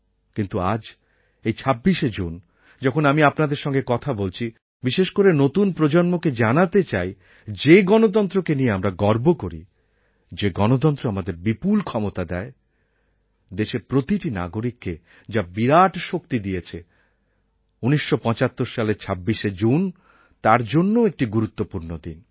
কিন্তু আজ এই ২৬শে জুন যখন আমি আপনাদের সঙ্গে কথা বলছি বিশেষ করে নতুন প্রজন্মকে জানাতে চাই যে গণতন্ত্রকে নিয়ে আমরা গর্ব করি যে গণতন্ত্র আমাদের বিপুল ক্ষমতা যোগায় দেশের প্রতিটি নাগরিককে যা বিরাট শক্তি দিয়েছে ১৯৭৫ সালের ২৬শে জুন তার জন্যও একটি গুরুত্বপূর্ণ দিন